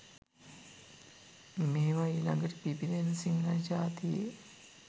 මේවා ඊ ළඟට පිබිදෙන සිංහල ජාතියේ